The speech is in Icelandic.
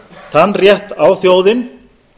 þann rétt á þjóðin